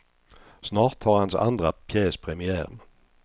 Snart har hans andra pjäs premiär.